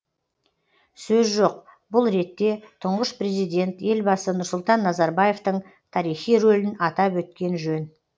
сөз жоқ бұл ретте тұңғыш президент елбасы нұрсұлтан назарбаевтың тарихи рөлін атап өткен жөн